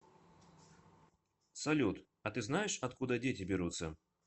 салют а ты знаешь откуда дети берутся